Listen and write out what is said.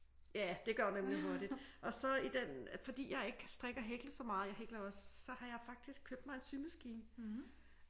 Ja det går nemlig hurtigt og så i den fordi jeg ikke kan strikke og hækle så meget jeg hækler også så har jeg faktisk købt mig en symaskine